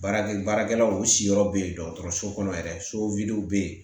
Baarakɛ baarakɛlaw siyɔrɔ bɛ yen dɔgɔtɔrɔso kɔnɔ yɛrɛ so bɛ yen